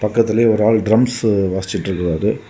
பக்கத்திலேயே ஒரு ஆளு ட்ரம்ஸ் வாசிச்சிட்டு இருக்காரு.